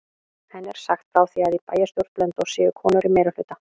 Henni er sagt frá því að í bæjarstjórn Blönduóss séu konur í meirihluta.